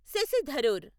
Shashi Tharoor